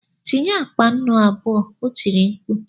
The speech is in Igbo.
Tinye akpa nnu abụọ! O tiri mkpu.